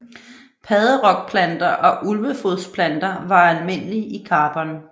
Padderokplanter og ulvefodsplanter var almindelige i Karbon